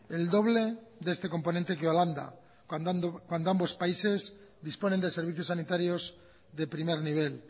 el doble de este componente que holanda cuando ambos países disponen de servicios sanitarios de primer nivel